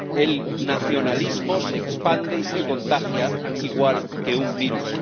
El nacionalismo se expande y se contagia igual que un virus.